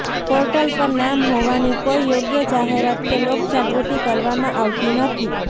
portal પર નામ હોવાની કોઇ યોગ્ય જાહેરાત કે લોક જાગૃતિ કરવામાં આવતી નથી